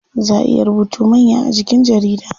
Zaa ayi rubutu manya a jikin jarida.